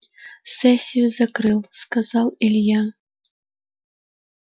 сессию закрыл сказал илья